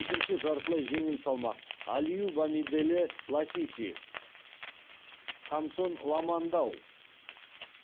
екінші жартылай жеңіл салмақ алиу бамиделе ласиси хамсон ламандау